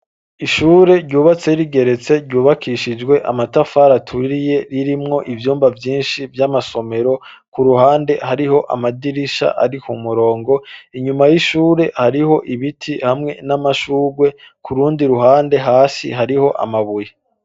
Ishure, ryubatse rigeretse, ryubakishijwe amatafari aturiye, ririmwo ivyumba vyinshi, vy'amasomero; ku ruhande, hariho amadirisha, ari ku murongo; inyuma y'ishure, hariho ibiti, hamwe n'amashurwe, ku rundi ruhande, hasi hariho, amabuye.